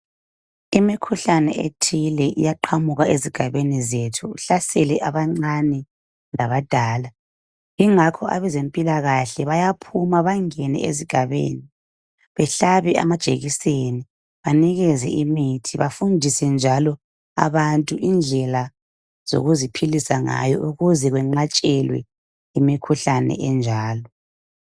Imikhuhlane ethile iyaqhamuka ezigabeni zethu ihlasele abancane labadala, yingakho abazempilakahle bayaphuma bangene ezigabeni bahlabe amajekiseni, banikeze imithi, bafundise njalo abantu indlela zokuziphilisa ukuze kwenqatshelwe imikhuhlane enjalo.